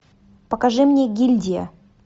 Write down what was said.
покажи мне гильдия